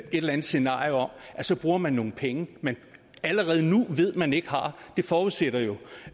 eller andet scenario om at så bruger man nogle penge man allerede nu ved at man ikke har forudsætter jo